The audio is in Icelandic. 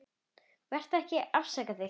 Vertu ekki að afsaka þig.